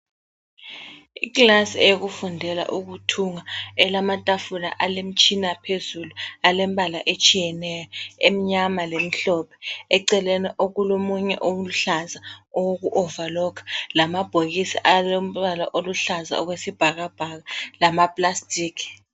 Ikilasi eyokufundela ukuthunga elamatafula alemitshina phezulu alemibala etshiyeneyo, emnyama lemhlophe. Eceleni okulomunye oluhlaza owoku overlocker. Lamabhokisi alombala aluhlaza okwesibhakabhaka lama plastic.